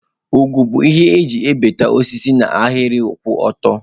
Nkwọ bụ ihe eji egbutu osisi n'ahịrị kwụ ọtọ.